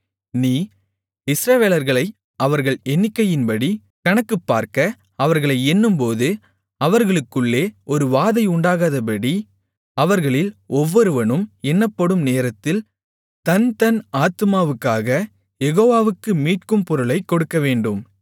நீ இஸ்ரவேலர்களை அவர்கள் எண்ணிக்கையின்படி கணக்குப்பார்க்க அவர்களை எண்ணும்போது அவர்களுக்குள்ளே ஒரு வாதை உண்டாகாதபடி அவர்களில் ஒவ்வொருவனும் எண்ணப்படும் நேரத்தில் தன்தன் ஆத்துமாவுக்காகக் யெகோவாவுக்கு மீட்கும் பொருளைக் கொடுக்கவேண்டும்